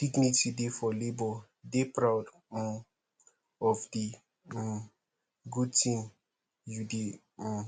dignity dey for labour dey proud um of di um good thing you de um